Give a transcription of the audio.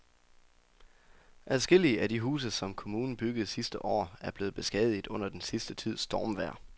Adskillige af de huse, som kommunen byggede sidste år, er blevet beskadiget under den sidste tids stormvejr.